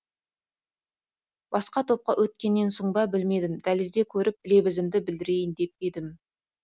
басқа топқа өткеннен соң ба білмедім дәлізде көріп лебізімді білдірейін деп едім